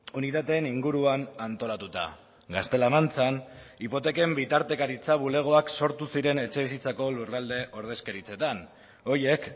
unitateen inguruan antolatuta gaztela mantxan hipoteken bitartekaritza bulegoak sortu ziren etxebizitzako lurralde ordezkaritzetan horiek